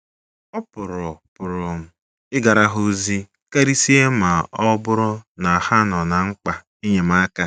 Ị̀ pụrụ pụrụ ịgara ha ozi, karịsịa ma ọ bụrụ na ha nọ ná mkpa enyemaka?